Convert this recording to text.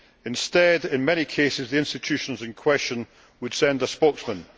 Instead, in many cases, the institutions in question would send a spokesman.